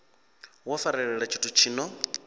wo farelela tshithu tshi no